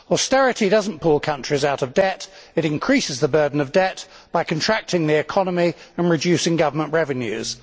Austerity does not pull countries out of debt, it increases the burden of debt by contracting the economy and reducing government revenues.